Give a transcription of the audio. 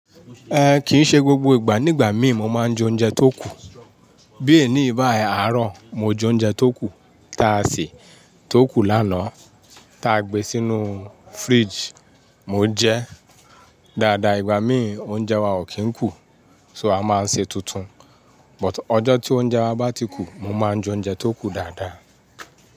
Eh, kìí ṣe gbogbo ìgbà. Ní ìgbà míì mo máa ń jẹ oúnjẹ tó kù. Bí e ní báyi àárọ̀, mo jẹ oúnjẹ tó kù. Táa se tó kù lánàá ta gbe sínú fridge mo jẹ. Dada ìgbà míì oúnjẹ wa ò kí ń kù, so a máa ń sè tuntun. But ọjọ́ tí oúnjẹ wa bá ti kù, mo máa ń jẹ oúnjẹ tó kù dáadáa.